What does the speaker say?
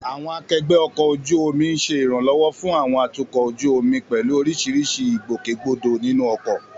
Àwọn akẹgbẹ́ ọkọ̀ ojú omi ń ṣe ìrànlọ́wọ́ fún àwọn atukọ̀ ojú omi pẹ̀lú oríṣiríṣi ìgbòkègbodò nínú ọkọ̀.